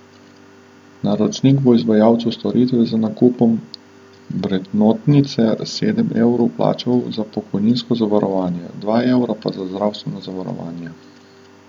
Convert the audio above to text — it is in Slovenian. Naročnik bo izvajalcu storitev z nakupom vrednotnice sedem evrov plačal za pokojninsko zavarovanje, dva evra pa za zdravstveno zavarovanje.